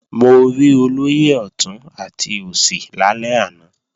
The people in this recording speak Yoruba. Mo rí olóyè ọ̀tún àti òsì lálẹ́ àná